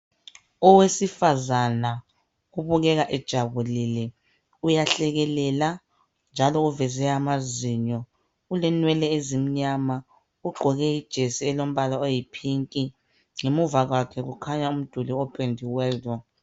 Owesifazana obukeka ejabulile uyahlekelela njalo uveze amazinyo ulenwele ezimnyama ugqoke ijesi elombala oyipink ngemuva kwakhe kukhanya umduli opendiweyo